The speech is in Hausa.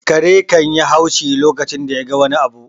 Kare kan yi haushi a lokacin da ya ga wani abu